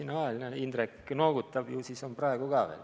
Näe, Indrek noogutab, ju siis on praegu ka nii.